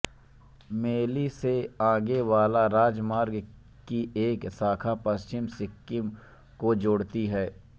मेल्ली से आने वाले राजमार्ग की एक शाखा पश्चिमी सिक्किम को जोड़ती है